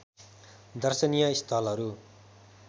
दर्शनीय स्थलहरू